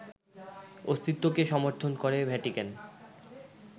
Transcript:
অস্তিত্বকে সমর্থন করে ভ্যাটিকান